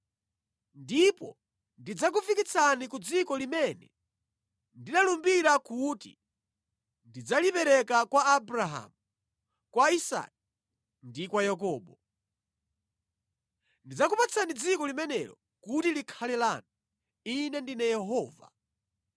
Ndipo ndidzakufikitsani ku dziko limene ndinalumbira kuti ndidzalipereka kwa Abrahamu, kwa Isake ndi kwa Yakobo. Ndidzakupatsani dziko limenelo kuti likhale lanu. Ine ndine Yehova.’ ”